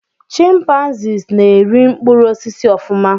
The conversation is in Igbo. Chimpanzees na-eri mkpụrụ osisi ofuma